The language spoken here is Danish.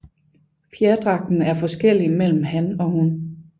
Fjerdragten er forskellig mellem han og hun